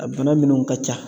A bana minunw ka ca